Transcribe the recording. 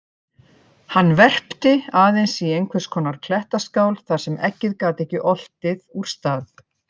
Hann verpti aðeins í einhvers konar klettaskál þar sem eggið gat ekki oltið úr stað.